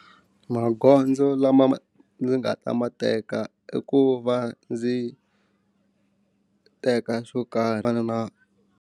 Magondzo lama ma ndzi nga ta ma teka i ku va ndzi teka swo karhi swo fana na.